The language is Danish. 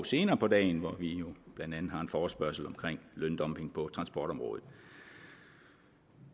senere på dagen hvor vi jo blandt andet har en forespørgsel om løndumping på transportområdet